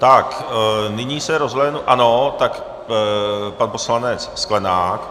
Tak, nyní se rozhlédnu - ano, tak pan poslanec Sklenák.